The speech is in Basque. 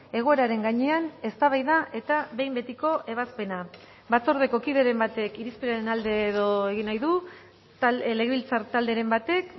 egoeraren gainean eztabaida eta behin betiko ebazpena batzordeko kideren batek irizpenaren alde edo egin nahi du legebiltzar talderen batek